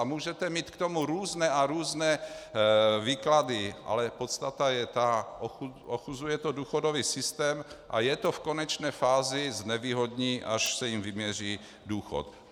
A můžete mít k tomu různé a různé výklady, ale podstata je ta - ochuzuje to důchodový systém a je to v konečné fázi znevýhodní, až se jim vyměří důchod.